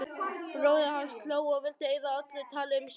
Bróðir hans hló og vildi eyða öllu tali um söng.